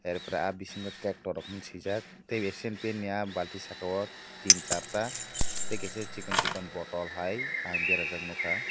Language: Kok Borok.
are pore ah bhisingo tractor hing sijak tei asian paint ni balting saka o tin sar ta tei kaisa sikon sikon botol hai berajak ang nog kha.